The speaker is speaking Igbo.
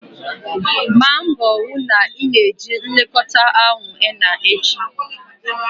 Gbaa mbọ hụ na ị na-eji nlekọta ahụ henna echi!